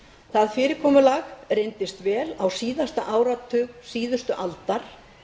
það fyrirkomulag reyndist vel á síðasta áratug síðustu aldar